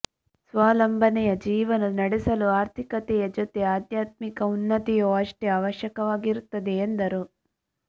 ಸ್ವಾವಲಂಬನೆಯ ಜೀವನ ನಡೆಸಲು ಆರ್ಥಿಕತೆಯ ಜೊತೆ ಆಧ್ಯಾತ್ಮಿಕ ಉನ್ನತಿಯು ಅಷ್ಟೇ ಅವಶ್ಯವಾಗಿರುತ್ತದೆ ಎಂದರು